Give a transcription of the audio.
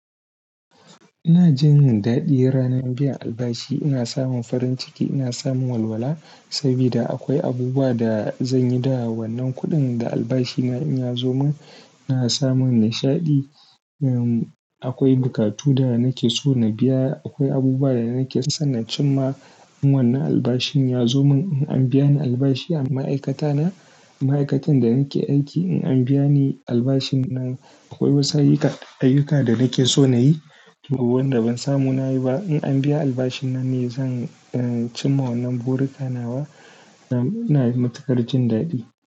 Ina jin daɗi ranar biyan albashi. Ina samun farin ciki, ina samun walwala. Sabida akwai abubuwa da zan yi da wannan kuɗin da albashina in ya zo min. Ina samun nishaɗi. Um, akwai bukatu da nake so na biya. Akwai abubuwa da nake so na cim ma. In wannan albashin ya zo min. In an biya ni albashi a ma'aikata na, ma'aikatan da nake aiki, in an biya ni albashin nan, akwai wasu ayyuka, ayyuka da nake so na yi wa wanda ban samu na yi ba. In an biya albashin na ne zan, uh, cim ma wannan burika nawa. Ina matukar jin daɗi.